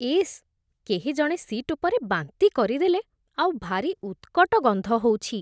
ଇସ୍, କେହିଜଣେ ସିଟ୍ ଉପରେ ବାନ୍ତି କରିଦେଲେ ଆଉ ଭାରି ଉତ୍କଟ ଗନ୍ଧ ହଉଛି ।